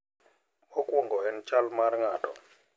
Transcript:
Mokwongo en chal mar ng`ato.